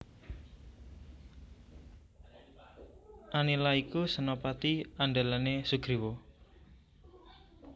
Anila iku senapati andhelane Sugriwa